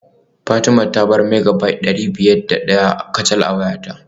Fatima ta bar Megabyte dari biyar da daya kacal a wayata